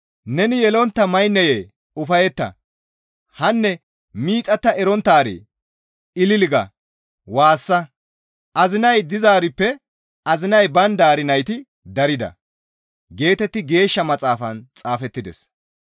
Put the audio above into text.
«Neni yelontta maynneye ufayetta! Hanne miixatta eronttaaree! ‹Ilili› ga waassa; azinay dizaarippe azinay bayndaari nayti darida» geetetti Geeshsha Maxaafan xaafettides.